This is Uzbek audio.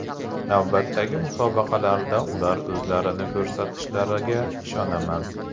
Navbatdagi musobaqalarda ular o‘zlarini ko‘rsatishlariga ishonaman”.